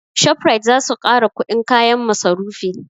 Shoprite zasu ƙara kuɗin kayan masarufi